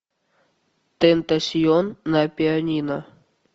тентасьон на пианино